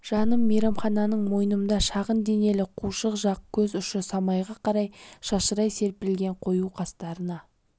жаным мейрамхананың мойнымда шағын денелі қушық жақ көз ұшы самайға қарай шашырай серпілген қою қастарына